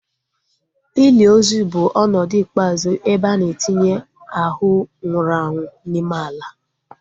Ili ozu bụ ọnọdụ ikpeazụ ebe a na-etinye ahu nwụrụ anwụ n'ime ala